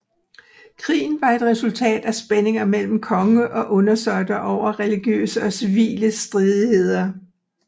Krigen var et resultat af spændinger mellem konge og undersåtter over religiøse og civile stridigheder